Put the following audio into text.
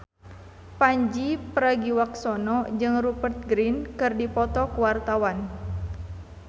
Pandji Pragiwaksono jeung Rupert Grin keur dipoto ku wartawan